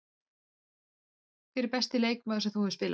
Hver er besti leikmaður sem þú hefur spilað með?